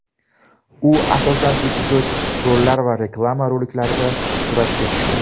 U, asosan, epizodik rollar va reklama roliklarida suratga tushgan.